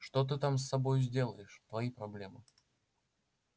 что ты там с собой сделаешь твои проблемы